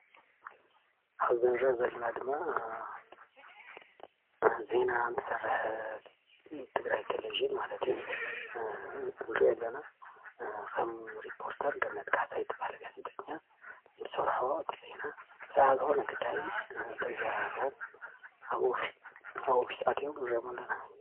ኣብዚ እንሪኦ ዘለና ድማ ዜና እንትሰርሕ ትግራይ ቴሌቭዥን ማለት እዩ፡፡ እንሪኦ ዘለና ከም ሪፖርተር ገነት ካሕሳይ ትባሃል ጋዜጠኛ እትሰርሖ እቲ ዜና፡፡ ብዛዕባ ዝኮነ እቲ ጉዳይ እንታይ ከም እተዘራርቦም ኣብ ኦፊስ ኣትዮም ንሪኦም ኣለና፡፡